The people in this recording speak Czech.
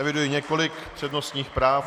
Eviduji několik přednostních práv.